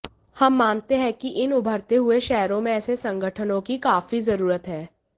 हम मानते हैं कि इन उभरते हुए शहरों में ऐसे संगठनों की काफी जरूरत है